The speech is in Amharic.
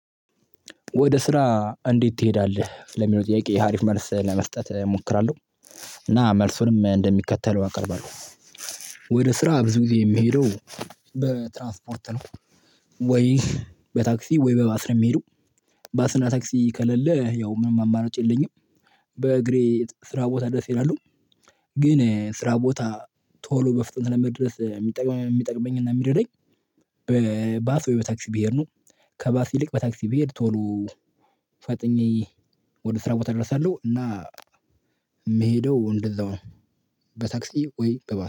ወደ ስራ እንዴት ትሄዳለህ ለሚለው ጥያቄ ሀሪፍ መልስ ለመስጠት እሞክራለሁ። እና መልሱንም እንደሚከተለው አቀርባለሁ። ወደ ስራ ብዙ ጊዜ የሚሄደው በትራንስፖርት ነው። ወይ በታክሲ ወይ በባስ ነው የሚሄደው። ባስና ታክሲ ከለለ ያው ምንም አማራጭ የለኝም። በእግሬ ስራ ቦታ ድረስ እሄዳለሁ። ግን ስራ ቦታ ቶሎ በፍጥንት ለመድረስ የሚጠቅመኝ የሚጠቅመኝና የሚረደኝ። በባስ ወይ በታክሲ ብሄድ ነው። ከባስ ይልቅ በታክሲ ብሄድ ቶሎ ፈጥኜ ወደ ስራ ቦታ ደርሳለሁ እና የምሄደው እንደዛው ነው። በታክሲ ወይ በባስ